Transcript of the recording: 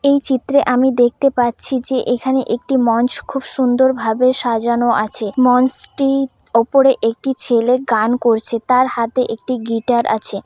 এই চিত্রে আমি দেখতে পাচ্ছি যে এখানে একটি মঞ্চ খুব সুন্দর ভাবে সাজানো আছে। মঞ্চটি ওপরে একটি ছেলে গান করছে তার হাতে একটি গিটার আছে।